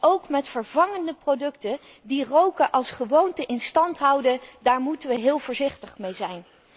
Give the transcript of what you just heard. Ook met vervangende producten, die roken als gewoonte in stand houden, moeten we heel voorzichtig mee